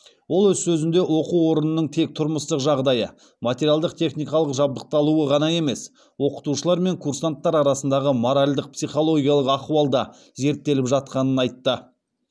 ол өз сөзінде оқу орнының тек тұрмыстық жағдайы материалдық техникалық жабдықталуы ғана емес оқытушылар мен курсанттар арасындағы моральдық психологиялық ахуал да зерттеліп жатқанын айтқан